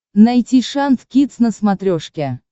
найти шант кидс на смотрешке